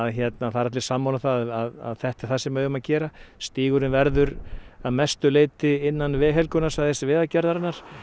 það eru allir sammála um að þetta er það sem við eigum að gera stígurinn verður að mestu leyti innan Vegagerðarinnar